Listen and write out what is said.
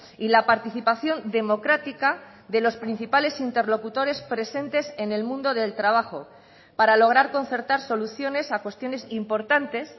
y la participación democrática de los principales interlocutores presentes en el mundo del trabajo para lograr concertar soluciones a cuestiones importantes